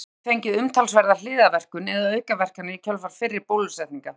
Barnið hefur fengið umtalsverða hliðarverkun eða aukaverkanir í kjölfar fyrri bólusetninga.